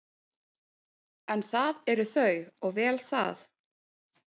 En það eru þau og vel það.